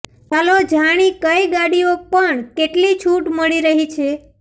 ચાલો જાણી કઈ ગાડીઓ પણ કેટલી છૂટ મળી રહી છે